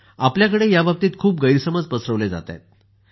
आपल्याकडे याबाबतीत खूप गैरसमज पसरवले जात आहेत